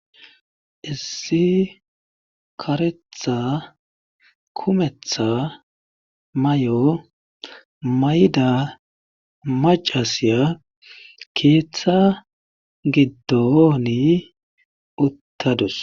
Issi karetha kumetha mayo mayida maccasiya keetha giddooni uttadus.